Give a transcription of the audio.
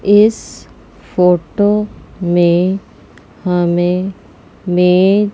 इस फोटो में हमें मे --